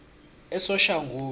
esoshanguve